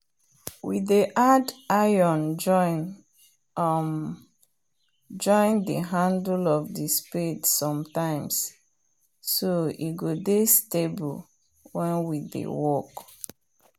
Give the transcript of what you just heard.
we dey add iron join um the handle of the spade sometimes so e go dey stable wen we dey work